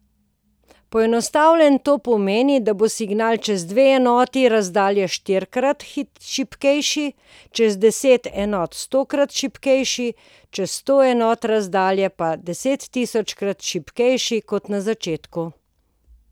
Poenostavljeno to pomeni, da bo signal čez dve enoti razdalje štirikrat šibkejši, čez deset enot stokrat šibkejši, čez sto enot razdalje pa desettisočkrat šibkejši kot na začetku.